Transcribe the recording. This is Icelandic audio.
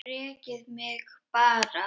Rekið mig bara!